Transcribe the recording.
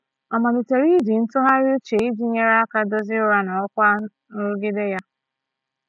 Ọ malitere iji ntụgharị uche iji nyere aka dozie ụra na ọkwa nrụgide ya.